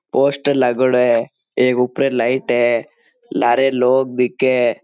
पोस्टर लागेड़ो है एक उपरे लाइट है लारे लोग दिखे है।